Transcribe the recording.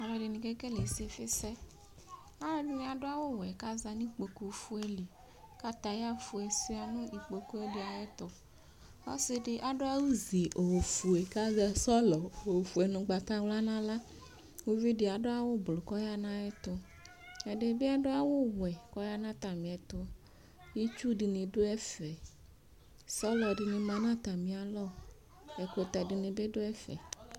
Alʋɛdini kekele isifisɛ alʋɛdini adʋ awʋwɛ kʋ azanʋ ikpokʋfue li katayafue suia nʋ ikpokʋ ɛdi ayʋ ɛtʋ ɔsidi adʋ awʋzi ofuekʋ azɛ sɔlɔ ofue nʋ ʋgbatawla nʋ aɣla ʋvidi adʋ awʋ ʋblʋ kʋ ɔyanʋ ayʋ ɛtʋ ɛdibi adʋ awʋwɛ kʋ ɔyanʋ atami ɛtʋ itsu dini dʋ ɛfɛ sɔlɔ dini manʋ atami alɔ ɛkʋtɛ dini bi dʋ ɛfɛ